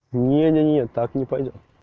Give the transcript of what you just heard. нет нет нет так не пойдёт